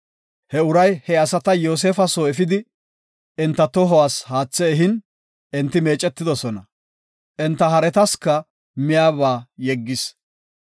He uray he asata Yoosefa soo efidi, enta tohuwas haathe ehin, enti meecetidosona. Enta haretasika miyaba yeggis.